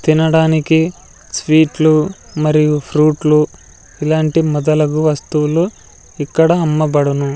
తినడానికి స్వీట్లు మరియు ఫ్రూట్లు ఇలాంటి మదలగు వస్తువులు ఇక్కడ అమ్మబడును.